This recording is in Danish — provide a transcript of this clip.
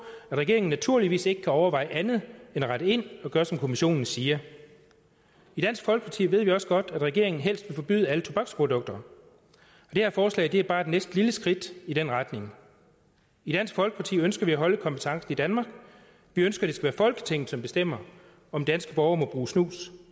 at regeringen naturligvis ikke kan overveje andet end at rette ind og gøre som kommissionen siger i dansk folkeparti ved vi også godt at regeringen helst vil forbyde alle tobaksprodukter det her forslag er bare et lille skridt i den retning i dansk folkeparti ønsker vi at holde kompetencen i danmark vi ønsker det skal være folketinget som bestemmer om danske borgere må bruge snus